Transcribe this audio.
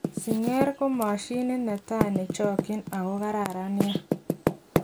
Singer ko moshinit netai nechokyin ako kararan nia.